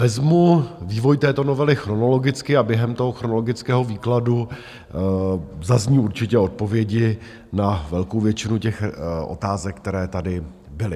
Vezmu vývoj této novely chronologicky a během toho chronologického výkladu zazní určitě odpovědi na velkou většinu těch otázek, které tady byly.